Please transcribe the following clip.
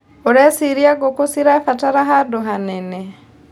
ũreciria ngũkũ cirabatara handũ hanene.